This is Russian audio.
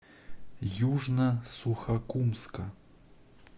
южно сухокумска